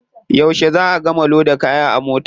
Yauce za a gama loda kaya a mota?